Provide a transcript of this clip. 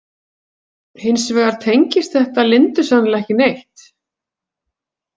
Hins vegar tengist þetta Lindu sennilega ekki neitt.